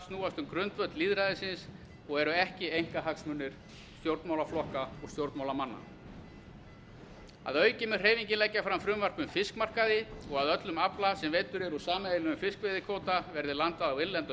snúast um grundvöll lýðræðisins og eru ekki einkahagsmunir stjórnmálaflokka og stjórnmálamannanna að auki mun hreyfingin leggja fram frumvarp um fiskmarkaði og að öllum afla sem veiddur er úr sameiginlegum fiskveiðikvóta verði landað á innlenda